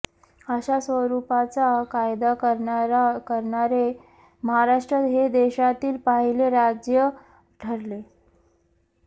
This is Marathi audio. अशा स्वरूपाचा कायदा करणारे महाराष्ट्र हे देशातील पहिले राज्य ठरले